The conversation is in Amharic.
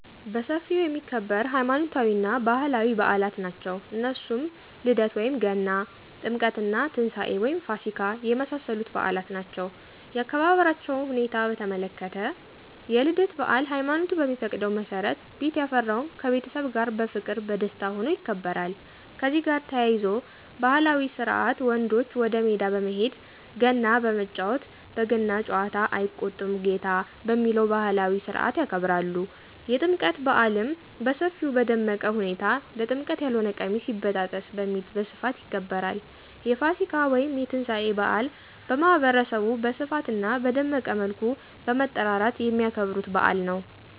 በሰፊው የሚከበር ሃይማኖታዊ እና ባህላዊ ብአላት ናቸው እነሱም ልደት(ገና ) :ጥምቀት እና ትንሳኤ(ፋሲካ) የመሳሰሉት ብአላት ናቸው ያከባበራቸዉ ሁኔታ በተመለከተ፣ የልደት ብአል ሃይማኖቱ በሚፈቅደው መሠረት ቤት ያፈራውን ከቤተሰብ ጋር በፍቅር በደስታ ሁኖ ይከበራል። ከዚህ ጋር ተያይዞ ባህላዊ ስርአት ወንዶች ወደ ሜዳ በመሄድ ገና በመጫወት በገና ጨዋታ አይቆጣም ጌታ በሚለው ባህላዊ ስርአት ያከብራሉ። የጥምቀት ብአልም በሰፊው በደመቀ ሁኔታ ለጥምቀት ያልሆነ ቀሚስ ይበጣጠስ በሚል በስፋት ይከበራል። የፋሲካ (የትንሳኤ) ብአል ማህበረሰቡ በስፋት አና በደመቀ መልኩ በመጠራራት የሚያከብሩት ብአል ነው።